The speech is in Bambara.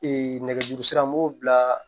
nɛgɛjurusira n b'o bila